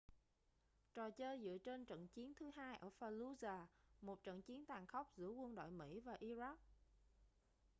trò chơi dựa trên trận chiến thứ hai ở fallujah một trận chiến tàn khốc giữa quân đội mỹ và iraq